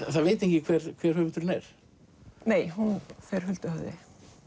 það veit enginn hver höfundurinn er nei hún fer huldu höfði